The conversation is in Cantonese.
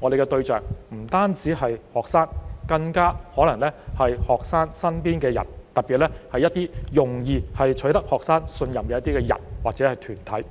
我們的對象不應只是學生，更可能要包括學生身邊的人，特別是一些容易取得學生信任的人或團體。